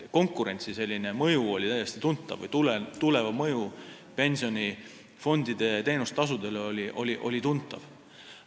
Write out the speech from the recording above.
Ehk konkurentsi mõju oli täiesti tuntav, Tuleva mõju pensionifondide teenustasudele oli tuntav.